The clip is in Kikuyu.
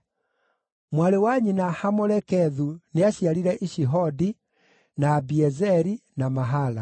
Mwarĩ wa nyina Hamolekethu nĩaciarire Ishihodi, na Abiezeri, na Mahala.